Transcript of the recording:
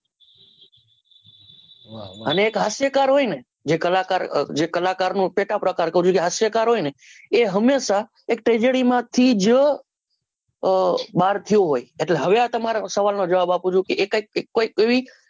અને એક હાસ્યકાર હોયને જે કલાકાર અ જે કલાકાર નો પેટા પ્રકાર કર્યું છે હાસ્યકાર હોય ને એ હંમેશા એક tragedy માંથી જ અ બાર થયો હોય એટલે હવે એ તમારા સવાલનો જવાબ આપું છુકે એક જ કોઈ એક એવી